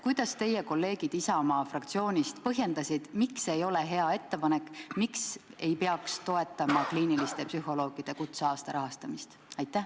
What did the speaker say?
Kuidas teie kolleegid Isamaa fraktsioonist põhjendasid, miks see ei ole hea ettepanek, miks ei peaks toetama kliiniliste psühholoogide kutseaasta rahastamist?